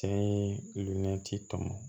Senati tɔmɔ